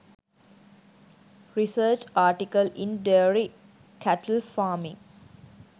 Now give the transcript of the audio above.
research article in dairy cattle farming